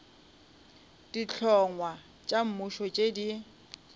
dihlongwa tša mmušo tše di